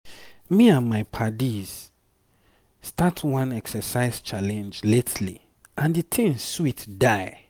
me and my paddies start one exercise challenge lately and the thing sweet die.